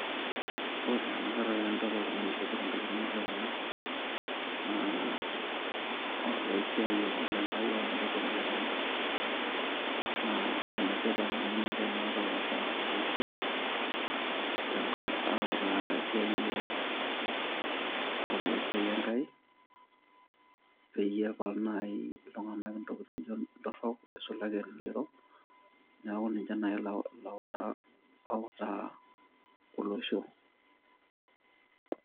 ore enakata tenidol oltung'ani oishopito inkilani nijo kuna naa olaisiayiani lenkai aa olarikoni le kanisa naa enetipat amu ninche naata oota olosho autaa tesiai e,autaki esiai Enkai peyie epal naaji iltung'anak intokitikin nijo torrok isulaki elelero niaku ninche naajilautaa outaa olosho